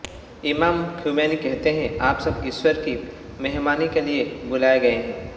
इमाम ख़ुमैनी कहते हैः आप सब ईश्वर की मेहमानी के लिए बुलाए गए हैं